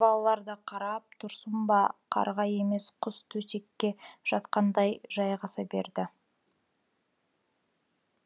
балалар да қарап тұрсын ба қарға емес құс төсекке жатқандай жайғаса берді